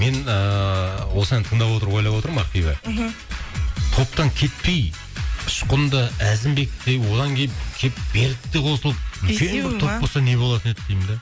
мен ыыы осы әнді тыңдап отырып ойлап отырмын ақбибі мхм топтан кетпей ұшқын да әзімбек те одан кейін келіп берік те қосылып бесеуі ма үлкен бір топ болса не болатын еді деймін де